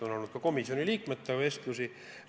On olnud sellest vestlusi ka komisjoni liikmetega.